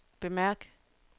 bemærk